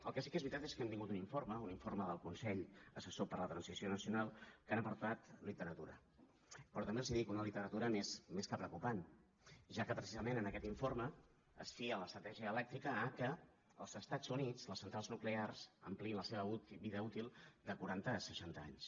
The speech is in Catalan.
el que sí que és veritat és que hem tingut un informe un informe del consell assessor per a la transició nacional amb què han aportat literatura però també els ho dic una literatura més que preocupant ja que precisament en aquest informe es fia l’estratègia elèctrica al fet que als estats units les centrals nuclears ampliïn la seva vida útil de quaranta a seixanta anys